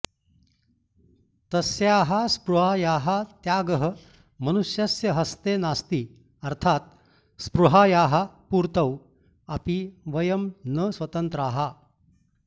तस्याः स्पृहायाः त्यागः मनुष्यस्य हस्ते नास्ति अर्थात् स्पृहायाः पूर्तौ अपि वयं न स्वतन्त्राः